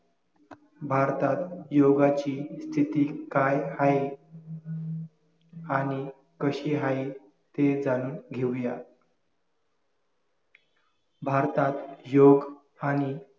भारतात योगाची स्थिती काय हाये आणि कशी हाये ते जाणून घेऊया भारतात योग आणि